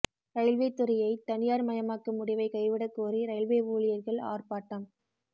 railway துறையை தனியார் மயமாக்கும் முடிவை கைவிடக்கோரி ரயில்வே ஊழியர்கள் ஆர்ப்பாட்டம்